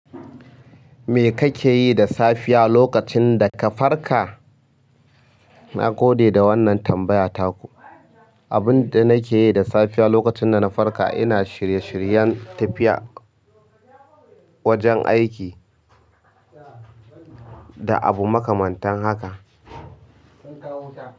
Me kake yi da safiya lokacin da ka farka? Na gode da wannan tambaya ta ku. Abin da nake yi da safiya lokacin da na farka, ina shirye-shiryen tafiya wajen aiki da abu makamantan haka.